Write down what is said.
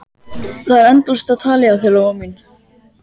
Það er endalaust á tali hjá þér, Lóa mín.